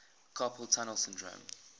carpal tunnel syndrome